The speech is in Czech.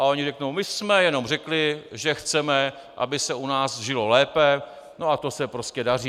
A oni řeknou: "My jsme jenom řekli, že chceme, aby se u nás žilo lépe, no a to se prostě daří."